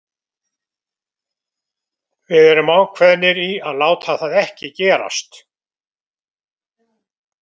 Við erum ákveðnir í að láta það ekki gerast.